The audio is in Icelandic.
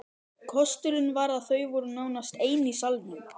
Kosturinn var að þau voru nánast ein í salnum.